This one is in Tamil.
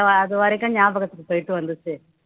அது வரைக்கும் ஞாபகத்துக்கு போயிட்டு வந்துச்சு